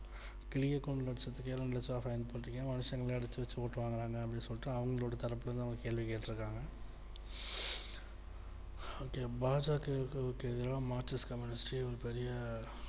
கிளிய கூண்டுல வச்சதுக்கே ரெண்டு லட்ச ரூபா fine போற்றுக்கிங்க மனுஷங்கலையே அடச்சு வச்சுருக்காங்கலாமே அப்டின்னு சொல்லிட்டு அவங்களோட தரப்புல இருந்து அவங்க கேள்வி கேட்டு இருக்காங்க okay பா ஜ க வுல இருக்குரவங்களுக்கு எதிரா markist communist ஒரு பெரிய